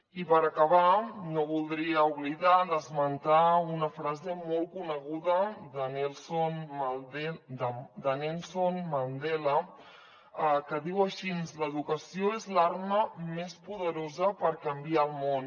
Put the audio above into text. i per acabar no voldria oblidar me d’esmentar una frase molt coneguda de nelson mandela que diu així l’educació és l’arma més poderosa per canviar el món